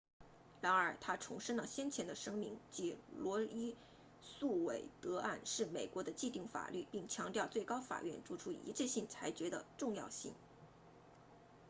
然而他重申了先前的声明即罗伊诉韦德案 roe v wade 是美国的既定法律并强调最高法院作出一致性裁决的重要性